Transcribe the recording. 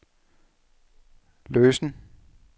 løsen